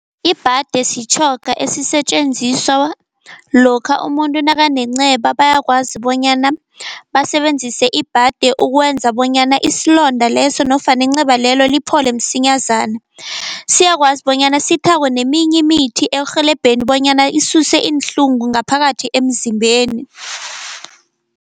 Ibhade sitjhoga esisetjenziswa lokha umuntu nakanenceba, bayakwazi bonyana basebenzise ibhade ukwenza bonyana isilonda leso nofana inceba lelo liphole msinyazana. Siyakwazi bonyana sithakwe neminye imithi ekurhelebheni bonyana isuse iinhlungu ngaphakathi emzimbeni.